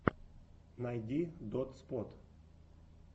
найди дотспот